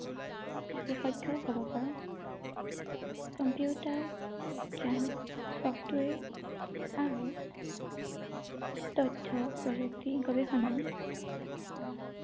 বিশেষজ্ঞ হ’ব পাৰো ৷ computer বিজ্ঞান, software আৰু তথ্য প্ৰযুক্তি গৱেষণাই আমাক